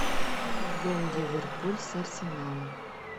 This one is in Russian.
футбол ливерпуль с арсеналом